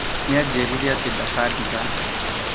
Nĩajĩrĩire atĩ ndakadiga